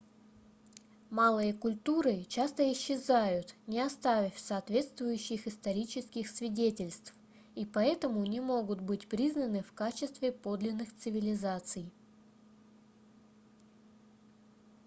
малые культуры часто исчезают не оставив соответствующих исторических свидетельств и поэтому не могут быть признаны в качестве подлинных цивилизаций